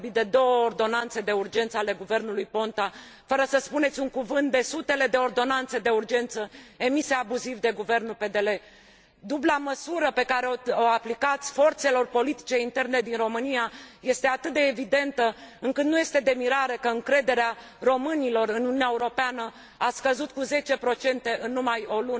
Ați vorbit de două ordonanțe de urgență ale guvernului Ponta, fără să spuneți un cuvânt despre sutele de ordonanțe de urgență emise abuziv de guvernul PDL. Dubla măsură pe care o aplicați forțelor politice interne din România este atât de evidentă, încât nu este de mirare că încrederea românilor în Uniunea Europeană a scăzut cu zece procente în numai o lună în această vară.